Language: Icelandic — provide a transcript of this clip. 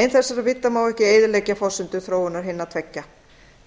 ein þessara vídda má ekki eyðileggja forsendur þróunar hinna tveggja